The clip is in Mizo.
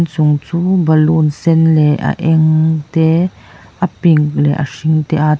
chung chu balûn sen leh a eng te a ping leh a hring te a --